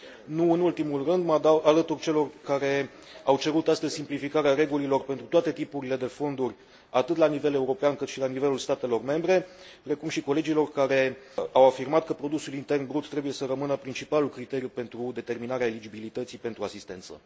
Nu în ultimul rând, mă alătur celor care au cerut astăzi simplificarea regulilor pentru toate tipurile de fonduri, atât la nivel european, cât și la nivelul statelor membre, precum și colegilor care au afirmat că produsul intern brut trebuie să rămână principalul criteriu pentru determinarea eligibilității pentru asistență.